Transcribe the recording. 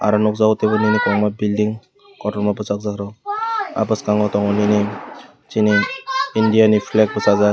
oro nukjakgo teibo nini kwbangma building kotorma bwchajakrok ah bwskango tongo nini chini india ni flage bwchajak.